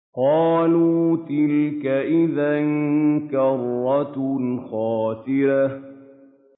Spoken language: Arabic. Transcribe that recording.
قَالُوا تِلْكَ إِذًا كَرَّةٌ خَاسِرَةٌ